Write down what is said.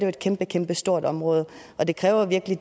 et kæmpekæmpestort område og det kræver virkelig